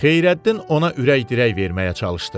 Xeyrəddin ona ürək-dirək verməyə çalışdı.